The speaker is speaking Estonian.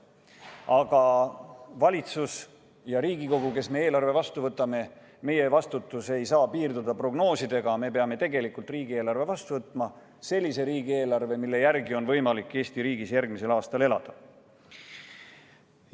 Aga valitsus ja Riigikogu, kes me eelarve vastu võtame, ei saa piirduda prognoosidega, me peame tegelikult riigieelarve vastu võtma, ja sellise riigieelarve, mille järgi on võimalik Eesti riigis järgmisel aastal elada.